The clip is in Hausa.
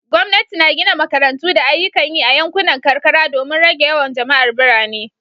Gwamnati na gina makarantu da ayyukan yi a yankunan karkara domin rage yawan jama'ar birane